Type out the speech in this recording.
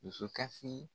Dusukasi